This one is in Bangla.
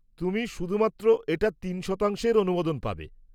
তুমি শুধুমাত্র এটার তিন শতাংশের অনুমোদন পাবে।